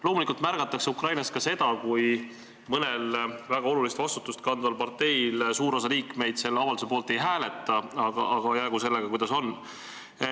Loomulikult märgatakse Ukrainas ka seda, kui mõne väga olulist vastutust kandva partei suur osa liikmeid selle avalduse poolt ei hääleta, aga jäägu sellega, kuidas on.